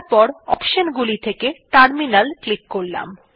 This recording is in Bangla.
তারপর অপশন গুলি থেকে টার্মিনাল ক্লিক করলাম